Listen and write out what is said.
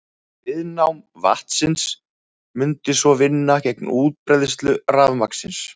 Viðnám vatnsins mundi svo vinna gegn útbreiðslu rafmagnsins.